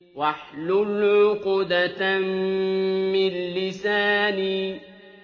وَاحْلُلْ عُقْدَةً مِّن لِّسَانِي